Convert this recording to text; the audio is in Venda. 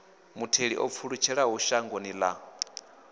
mutheli o pfulutshelaho shangoni ḽa